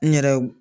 N yɛrɛ